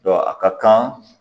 a ka kan